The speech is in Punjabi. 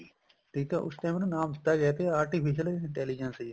ਠੀਕ ਏ ਉਸ time ਨਾ ਨਾਮ ਦਿੱਤਾ ਗਿਆ ਸੀ artificial intelligence